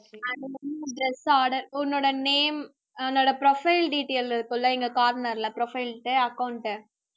dress order உன்னோட name உன்னோட profile detail இருக்கும்ல இங்க corner ல profile ட்ட account